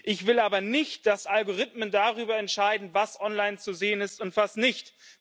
Ich will aber nicht, dass Algorithmen darüber entscheiden, was online zu sehen ist und was nicht.